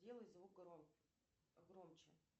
сделай звук громче